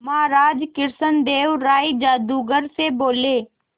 महाराज कृष्णदेव राय जादूगर से बोले